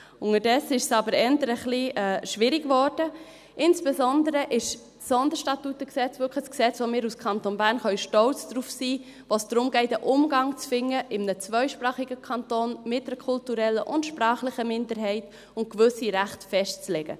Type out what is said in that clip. Unterdessen ist es aber eher etwas schwierig geworden, insbesondere ist das SStG wirklich ein Gesetz, auf das wir als Kanton Bern stolz sein können, bei dem es darum geht, in einem zweisprachigen Kanton einen Umgang zu finden mit einer kulturellen und sprachlichen Minderheit und gewisse Rechte festzulegen.